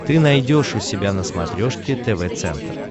ты найдешь у себя на смотрешке тв центр